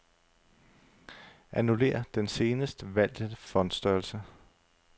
Annullér den senest valgte font-størrelse.